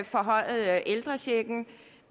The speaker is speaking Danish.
forhøjet ældrechecken